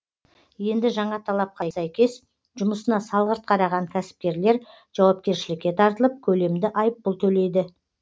енді жаңа талапқа сәйкес жұмысына салғырт қараған кәсіпкерлер жауапкершілікке тартылып көлемді айыппұл төлейді